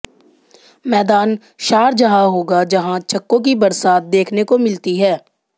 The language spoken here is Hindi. मैदान शारजाह होगा जहां छक्कों की बरसात देखने को मिलती है